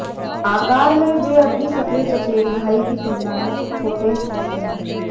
आकार में वे अपनी सफेद चचेरे भाई की तुलना में कुछ छोटे होते हैं